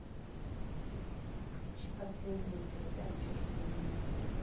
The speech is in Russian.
включи последнюю передачу жди меня